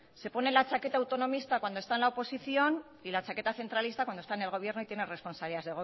se pone la chaqueta autonomista cuando está en la oposición y la chaqueta centralista cuando está en el gobierno y tiene responsabilidad